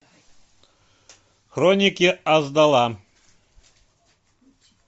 хроники асдала